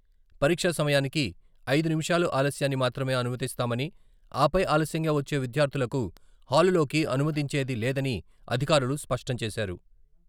పరీక్షా సమయానికి ఐదు నిమిషాలు ఆలస్యాన్ని మాత్రమే అనుమతిస్తామని, ఆపై ఆలస్యంగా వచ్చే విద్యార్థులకు హాలులోకి అనుమతించేది లేదని అధికారులు స్పష్టం చేశారు.